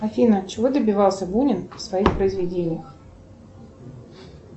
афина чего добивался бунин в своих произведениях